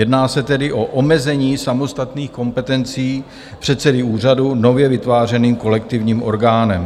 Jedná se tedy o omezení samostatných kompetencí předsedy úřadu nově vytvářeným kolektivním orgánem.